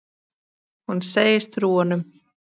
Hún segist trúa honum.